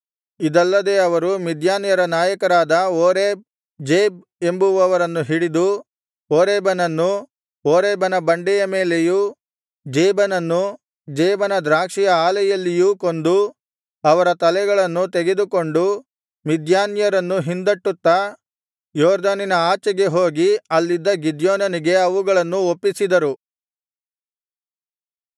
ಇದಲ್ಲದೆ ಅವರು ಮಿದ್ಯಾನ್ಯರ ನಾಯಕರಾದ ಓರೇಬ್ ಜೇಬ್ ಎಂಬುವರನ್ನು ಹಿಡಿದು ಓರೇಬನನ್ನು ಓರೇಬನ ಬಂಡೆಯ ಮೇಲೆಯೂ ಜೇಬನನ್ನು ಜೇಬನ ದ್ರಾಕ್ಷಿಯ ಆಲೆಯಲ್ಲಿಯೂ ಕೊಂದು ಅವರ ತಲೆಗಳನ್ನು ತೆಗೆದುಕೊಂಡು ಮಿದ್ಯಾನ್ಯರನ್ನು ಹಿಂದಟ್ಟುತ್ತಾ ಯೊರ್ದನಿನ ಆಚೆಗೆ ಹೋಗಿ ಅಲ್ಲಿದ್ದ ಗಿದ್ಯೋನನಿಗೆ ಅವುಗಳನ್ನು ಒಪ್ಪಿಸಿದರು